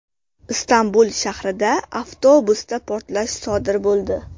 Istanbul shahrida avtobusda portlash sodir bo‘ldi.